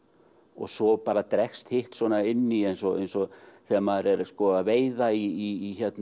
og svo bara dregst hitt svona inn í eins og eins og þegar maður er að veiða í